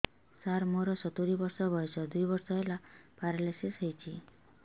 ସାର ମୋର ସତୂରୀ ବର୍ଷ ବୟସ ଦୁଇ ବର୍ଷ ହେଲା ପେରାଲିଶିଶ ହେଇଚି